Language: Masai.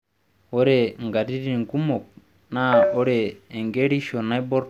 Ore nkatitin kumok naa ore enkerisho naiborr too mbenek oorpayek naa olnyaru oyau